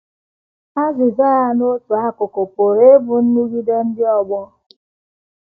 Azịza ya, n’otu akụkụ, pụrụ ịbụ nrụgide ndị ọgbọ.